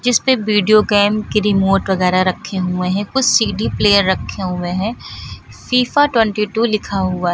जिसपे video game के remote वगैरा रखे हुए हैं कुछ सी_डी प्लेयर रखे हुए हैं फीफा ट्वेंटी टू लिखा हुआ है।